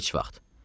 Heç vaxt.